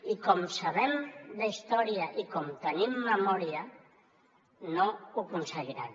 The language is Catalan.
i com sabem d’història i com tenim memòria no ho aconseguiran